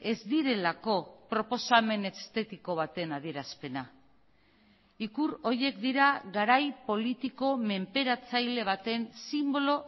ez direlako proposamen estetiko baten adierazpena ikur horiek dira garai politiko menperatzaile baten sinbolo